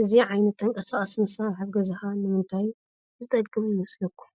እዚ ዓይነት ተንቀሳቓሲ መሳርሒ ኣብ ገዛኻ ንምንታይ ዝጠቅም ይመስለኩም?